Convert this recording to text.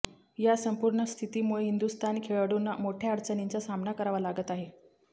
या संपूर्ण स्थितीमुळे हिंदुस्थानी खेळाडूंना मोठ्या अडचणींचा सामना करावा लागत आहे